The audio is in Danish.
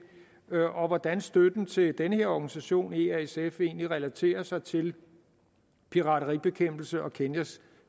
og til hvordan støtten til den her organisation easf egentlig relaterer sig til pirateribekæmpelse og kenyas